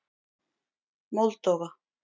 Moldóva